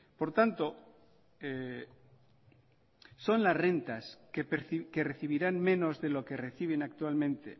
por tanto son las rentas que recibirán menos de lo que reciben actualmente